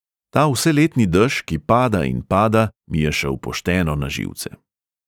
Ta vseletni dež, ki pada in pada, mi je šel pošteno na živce.